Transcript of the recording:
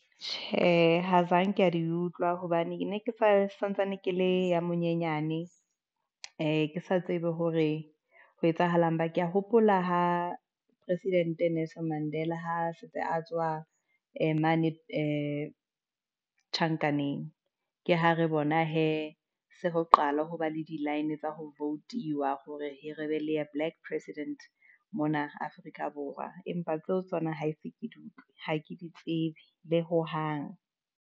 Tjhe, ha zangi di utlwa hobane ke santsane ke le ya monyenyane, ke sa tsebe hore ho etsahalang. ke ya hopola ho president Nelson Mandela ha a setse a tswa mane tjhankaneng, ke ha re, bona hee se ho qala ho ba le di-line tsa vote-iwa hore he re be le black president mona Afrika Borwa. Empa tseo tsona ha ese ke di utlwe, ha ke di tsebe le hohang.